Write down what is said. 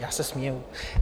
Já se směju.